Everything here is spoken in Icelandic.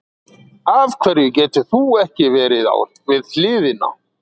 Af hverju getur þú ekki verið við hliðina?